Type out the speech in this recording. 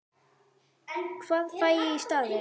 Hvað fæ ég í staðinn?